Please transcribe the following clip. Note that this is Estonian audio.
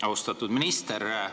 Austatud minister!